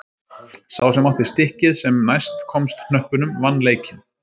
Sá sem átti stikkið sem næst komst hnöppunum vann leikinn.